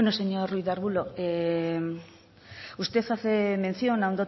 señor ruiz de arbulo usted hace mención a